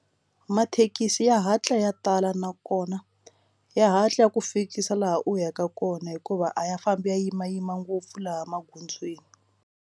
Mathekisi ya hatla ya tala nakona ya hatla ya ku fikisa laha u yaka kona hikuva a ya fambi ya yimayima ngopfu laha magondzweni.